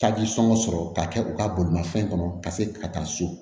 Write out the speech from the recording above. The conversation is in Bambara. Taji sɔngɔ sɔrɔ k'a kɛ u ka bolimafɛn kɔnɔ ka se ka taa so